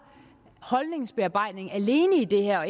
holdningsbearbejdning alene i det her og